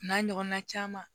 N'a ɲɔgɔnna caman